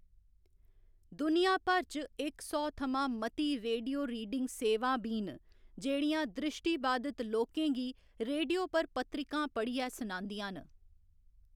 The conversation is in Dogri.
दुनिया भर च इक सौ थमां मती रेडियो रीडिंग सेवां बी न जेह्‌‌ड़ियां दृशिट्रबाधित लोकें गी रेडियो पर पत्रिकां पढ़ियै सुनांदियां न।